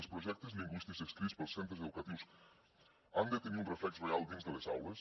els projectes lingüístics escrits pels centres educatius han de tenir un reflex real dins de les aules